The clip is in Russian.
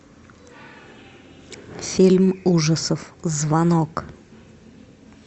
фильм ужасов звонок